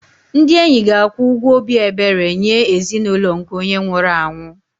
Ndị enyi ga-akwụ ụgwọ obi ebere nye ezinụlọ nke onye nwụrụ anwụ